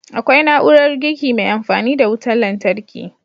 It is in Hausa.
Akwai na'urar girki mai amfani da wutan lantarki